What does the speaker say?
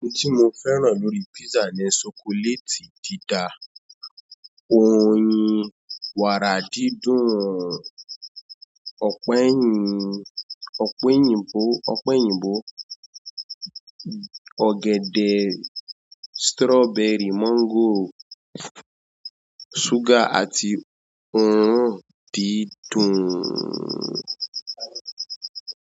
Ohun tí mo fẹ́ràn lórí písà ni ṣokoléètì dída, oyin, wàrà dídùn, ọpẹ òyìnbó, ọ̀gẹ̀dẹ̀, sítírọ́bẹrì, mọ́ńgòrò. Súgà àti òórùn dídùn.